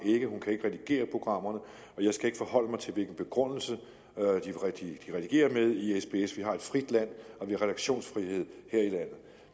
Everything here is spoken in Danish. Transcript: ikke hun kan ikke redigere programmerne og jeg skal ikke forholde mig til hvilken begrundelse de redigerer med i sbs vi har et frit land og vi har redaktionsfrihed